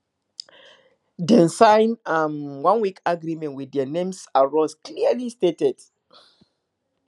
dem sign um oneweek agreement with their names and roles clearly stated